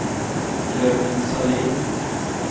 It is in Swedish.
Jörgen Sahlin